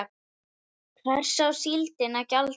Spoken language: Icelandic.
Hvers á síldin að gjalda?